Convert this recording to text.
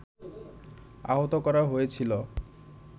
আহত করা হয়েছিল